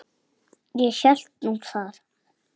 Ég hélt nú það.